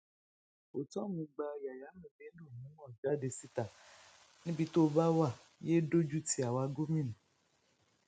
ortom gba yayaran bello nímọ jáde síta níbi tó o bá wá yéé dójú ti àwa gómìnà